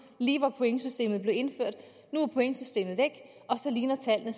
lige da pointsystemet blev indført nu er pointsystemet væk og så ligner tallene